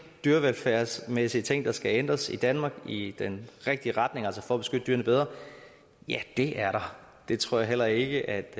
dyrevelfærdsmæssige ting der skal ændres i danmark i den rigtige retning altså for at beskytte dyrene bedre ja det er der det tror jeg heller ikke